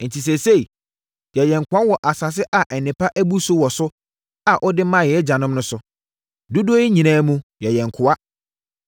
“Enti, seesei, yɛyɛ nkoa wɔ asase a nnepa abu so wɔ so a wode maa yɛn agyanom no so. Dodoɔ yi nyinaa mu, yɛyɛ nkoa.